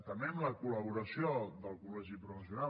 també amb la col·laboració del col·legi professional